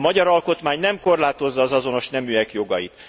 A magyar alkotmány nem korlátozza az azonos neműek jogait.